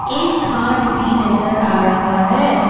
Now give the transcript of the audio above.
एक घाट भी नजर आ रहा है।